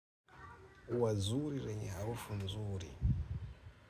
Ua zuri lenye harufu nzuri.